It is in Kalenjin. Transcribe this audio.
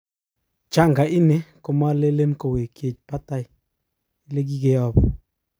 janga ini komalele kowenyech patan ilekikeyapu